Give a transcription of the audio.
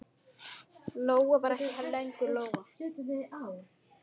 Lóa var ekki lengur Lóa.